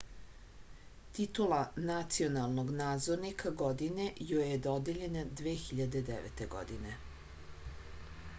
titula nacionalnog nadzornika godine joj je dodeljena 2009. godine